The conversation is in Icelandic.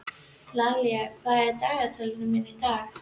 Laíla, hvað er á dagatalinu mínu í dag?